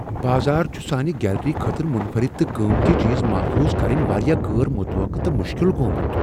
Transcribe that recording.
بازار چھ سانِہ گیلری خٲطرٕ منفرد تہٕ قۭمتی چیز محفوظ کرٕنۍ واریاہ غٲر متوقع تہٕ مشکل گوٚمُت۔